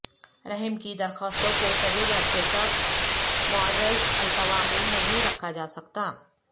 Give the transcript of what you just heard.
رحم کی درخواستوں کو طویل عرصہ تک معرض التواء میں نہیں رکھا جاسکتا